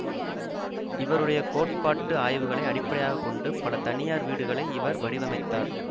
இவருடைய கோட்பாட்டு ஆய்வுகளை அடிப்படையாக கொண்டு பல தனியார் வீடுகளை இவர் வடிவமைத்தார்